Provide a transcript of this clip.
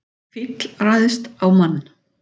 Fíll ræðst á mann